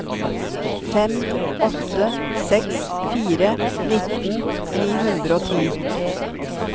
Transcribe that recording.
fem åtte seks fire nittien ni hundre og ti